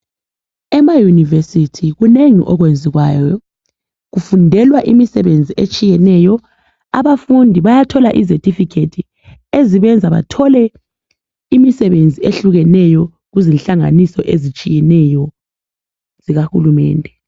EmaYunivesi kunengi okwenziwayo. Kufundelwa imisebenzi etshiyeneyo. Abafundi bayathola izethifikhethi ezibenza bathole imisebenzi ehlukeneyo kuzinhlanganiso ezitshiyeneyo zikahulumende.